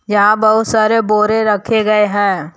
यहां बहुत सारे बोरे रखे गए हैं।